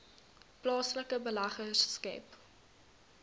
plaaslike beleggers skep